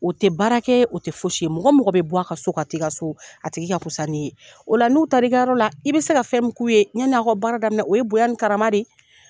O tɛ baara kɛ, o tɛ fosi ye mɔgɔ o mɔgɔ bɛ bɔ, a ka so ka ti ka so, a tigi ka fusa n'i ye, o la n'u taar'i ka yɔrɔ la, i bɛ se ka fɛn mun k'u ye, ɲɛn'aw ka baara daminɛ o ye bonya ni karama de ye.